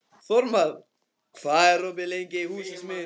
Þórmar, hvað er opið lengi í Húsasmiðjunni?